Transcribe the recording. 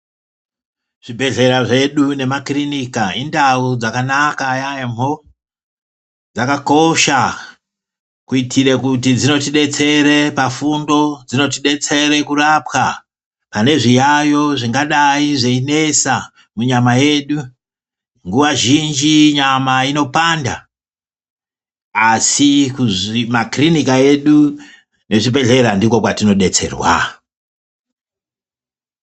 Zvibhehlera zvedu nemakirinika indau dzakanaka yaamho, dzakakosha kuitire kuti dzinotidetsere pafundo, dzinotidetsere kurapwa pane zviyaiyo zvingadai zveinesa munyama yedu. Nguwa zhinji nyama inopanda asi makiriniki edu nezvibhehlera ndiko kwatinodetserwa.